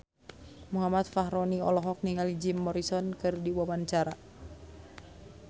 Muhammad Fachroni olohok ningali Jim Morrison keur diwawancara